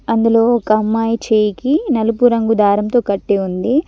అందులో ఒక అమ్మాయి చేయికి నలుపు రంగు దారంతో కట్టి ఉంది.